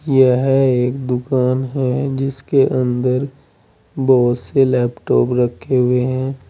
यह एक दुकान है जिसके अंदर बहुत से लैपटॉप रखें हुए हैं।